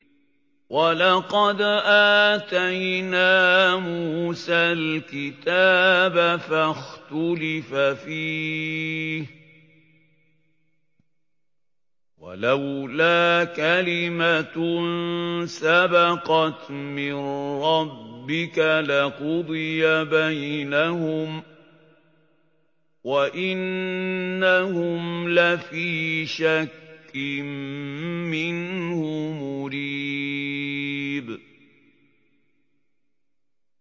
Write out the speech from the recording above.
وَلَقَدْ آتَيْنَا مُوسَى الْكِتَابَ فَاخْتُلِفَ فِيهِ ۗ وَلَوْلَا كَلِمَةٌ سَبَقَتْ مِن رَّبِّكَ لَقُضِيَ بَيْنَهُمْ ۚ وَإِنَّهُمْ لَفِي شَكٍّ مِّنْهُ مُرِيبٍ